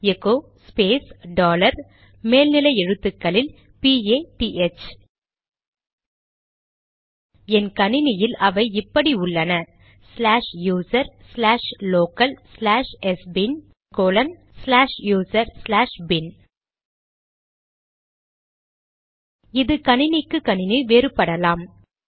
echo space dollar மேல் நிலை எழுத்துக்களில் பிஏடிஹெச்PATH என் கணினியில் அவை இப்படி உள்ளனச்லாஷ் யூசர் ச்லாஷ் லோகல் ச்லாஷ் எஸ்பின்sbin ச்லாஷ் யூசர் ச்லாஷ் பின்bin இது கணினிக்கு கணினி வேறுபடலாம்